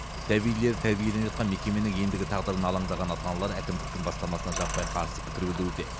сәбилері тәрбиеленіп жатқан мекеменің ендігі тағдырына алаңдаған ата аналар әкімдіктің бастамасына жаппай қарсы пікір білуде